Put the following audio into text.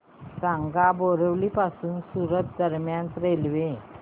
सांगा बोरिवली पासून सूरत दरम्यान रेल्वे